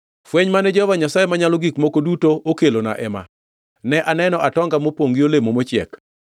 Fweny mane Jehova Nyasaye Manyalo Gik Moko Duto okelona ema: Ne aneno atonga mopongʼ gi olemo mochiek.